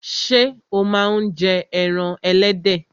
Ṣé o máa ń jẹ ẹran ẹlẹ́dẹ̀?